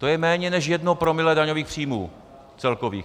To je méně než jedno promile daňových příjmů, celkových.